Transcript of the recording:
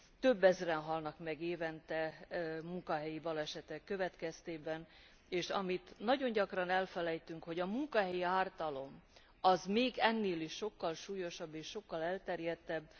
Több ezren halnak meg évente munkahelyi balesetek következtében, és amit nagyon gyakran elfelejtünk, hogy a munkahelyi ártalom az még ennél is sokkal súlyosabb és sokkal elterjedtebb.